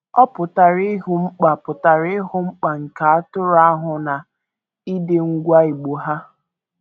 Ọ pụtara ịhụ mkpa pụtara ịhụ mkpa nke atụrụ ahụ na ịdị ngwa igbo ha.